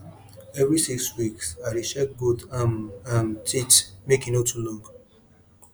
every six weeks i dey check goat um um teeth make e no too long